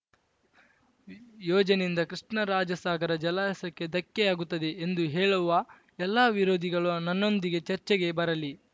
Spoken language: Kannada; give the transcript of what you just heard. ಯೋಜನೆಯಿಂದ ಕೃಷ್ಣರಾಜಸಾಗರ ಜಲಾಶಯಕ್ಕೆ ಧಕ್ಕೆಯಾಗುತ್ತದೆ ಎಂದು ಹೇಳುವ ಎಲ್ಲಾ ವಿರೋಧಿಗಳು ನನ್ನೊಂದಿಗೆ ಚರ್ಚೆಗೆ ಬರಲಿ